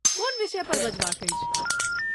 कोन विषय पर बजबाक अछि?